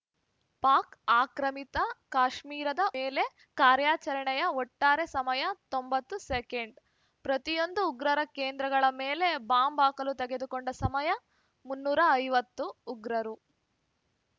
ಪಾಕ್‌ ಆಕ್ರಮಿತ ಕಾಶ್ಮೀರದ ಉಗ್ರ ಶಿಬಿರಗಳ ಮೇಲೆ ಕಾರಾರ‍ಯಚರಣೆಯ ಒಟ್ಟಾರೆ ಸಮಯ ತೊಂಬತ್ತು ಸೆಕೆಂಡ್‌ ಪ್ರತಿಯೊಂದು ಉಗ್ರರ ಕೇಂದ್ರಗಳ ಮೇಲೆ ಬಾಂಬ್‌ ಹಾಕಲು ತೆಗೆದುಕೊಂಡ ಸಮಯ ಮುನ್ನೂರ ಐವತ್ತು ಉಗ್ರರು